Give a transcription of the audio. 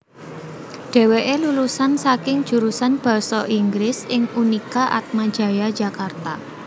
Dhèwèké lulusan saka jurusan basa Inggris ing Unika Atmajaya Jakarta